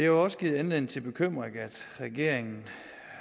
jo også givet anledning til bekymring at regeringen